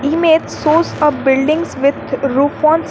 Image shows a buildings with roof on.